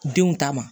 Denw ta ma